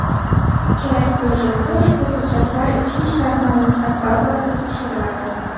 Kerak bo‘lganda, ushbu hujjatlar ichki ishlar ma’lumotlar bazasida tekshiriladi.